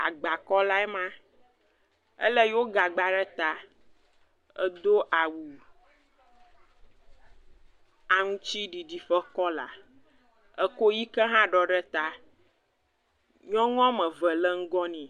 Agbakɔlae ma, ele yo gagba ta. Edo awu aŋtiɖiɖi ƒe kɔla, ekɔ yiga hã ɖɔɖe ta. Nyɔnu woame eve le ŋugɔ nɛ.